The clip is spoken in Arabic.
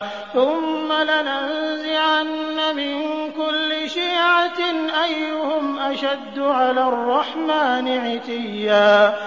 ثُمَّ لَنَنزِعَنَّ مِن كُلِّ شِيعَةٍ أَيُّهُمْ أَشَدُّ عَلَى الرَّحْمَٰنِ عِتِيًّا